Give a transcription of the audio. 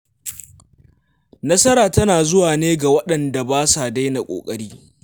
Nasara tana zuwa ne ga waɗanda ba sa daina ƙoƙari.